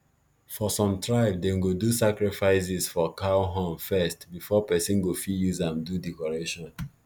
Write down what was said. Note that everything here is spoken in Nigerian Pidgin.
for some tribe dem go do sacrifices for cow horn first before person go fit use am do decoration